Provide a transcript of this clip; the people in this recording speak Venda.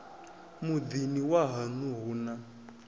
muḓini wa haṋu hu na